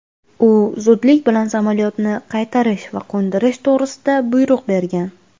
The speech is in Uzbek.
u zudlik bilan samolyotni qaytarish va qo‘ndirish to‘g‘risida buyruq bergan.